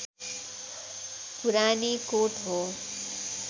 पुरानीकोट हो